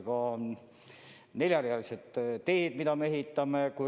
On ka neljarealised teed, mida me ehitame.